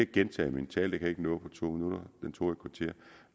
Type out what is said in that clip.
gentage min tale jeg ikke nå på to minutter